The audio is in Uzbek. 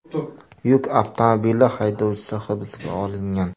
Yuk avtomobili haydovchisi hibsga olingan.